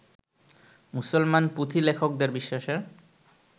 মুসলমান পুঁথিলেখকদের বিশ্বাসের